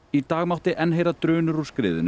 í dag mátti heyra drunur úr skriðunni